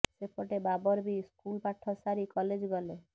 ସେପଟେ ବାବର ବି ସ୍କୁଲ ପାଠ ସାରି କଲେଜ୍ ଗଲେ